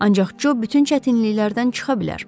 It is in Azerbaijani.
Ancaq Co bütün çətinliklərdən çıxa bilər.